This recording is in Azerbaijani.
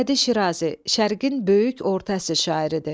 Sədi Şirazi Şərqin böyük orta əsr şairidir.